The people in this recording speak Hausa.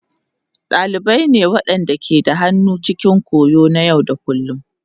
Dalibai ne waɗanda ke da hannu cikin koyo na yau da kullun.